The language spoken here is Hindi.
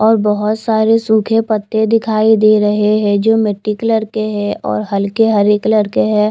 और बहुत सारे सूखे पत्ते दिखाई दे रहे है जो मिट्टी कलर के है और हल्के हरे कलर के है।